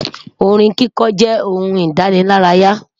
Orin kíkọ jẹ ohun idanilaraya